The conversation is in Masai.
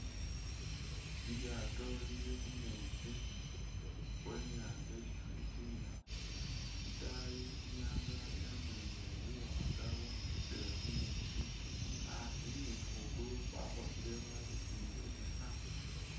Lilyaato lili khu meetsi khwe i'nyaanza isi khalitimila, itaayi i'nyaanga yamulikhile buwaanga bwakhosele khu meetsi, asi ne khwigulu khwakhosele khwabesemele buusa.